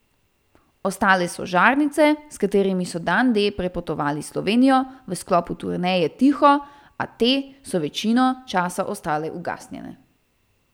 Ostale so žarnice, s katerimi so Dan D prepotovali Slovenijo v sklopu turneje Tiho, a te so večino časa ostale ugasnjene.